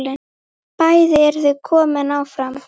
Bæði eru þau komin áfram.